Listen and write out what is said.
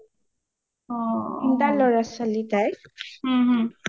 তিনটা লৰা ছোৱালী তাইৰ ওম ওম